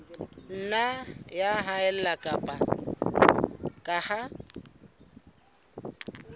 nna ya haella ka ha